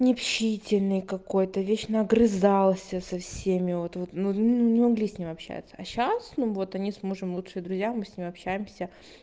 необщительный какой-то вечно огрызался со всеми вот вот ну ну не могли с ним общаться а сейчас ну вот они с мужем лучшие друзья мы с ним общаемся